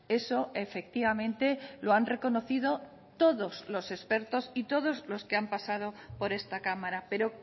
eso efectivamente lo han reconocido todos los expertos y todos los que han pasado por esta cámara pero